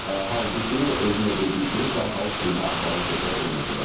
Halbuki, özü də dediyi kimi, dərhal sülhə aparan söhbət olmasa da.